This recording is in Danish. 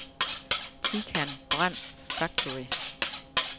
Tican Brand Factory